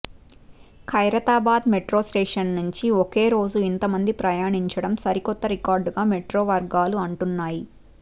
Khairatabad metro station నుంచి ఒకే రోజు ఇంత మంది ప్రయాణించడం సరికొత్త రికార్డుగా మెట్రో వర్గాలు అంటున్నాయి